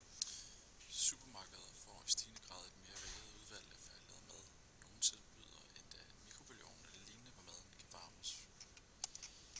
supermarkeder får i stigende grad et mere varieret udvalg af færdiglavet mad nogle tilbyder endda en mikrobølgeovn eller lignende hvor maden kan varmes